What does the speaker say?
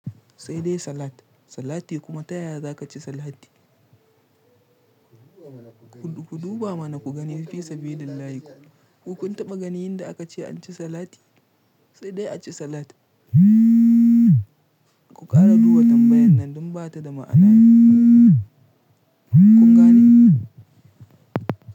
Sai dai salat. Salati kuma ta yaya za ka ci salati? Ku duba mana ku gani mana fisabiliLLahi. Ku kun taɓa ganin yanda aka ce anci salati? Sai dai a ci salat. Ku ƙara duba tambayan nan don ba ta da ma'ana. Kun gane?